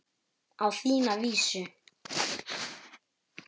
Á þína vísu.